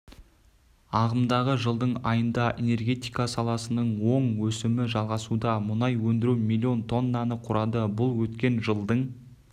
ағымдағы жылдың айында энергетика саласының оң өсімі жалғасуда мұнай өндіру миллион тоннаны құрады бұл өткен жылдың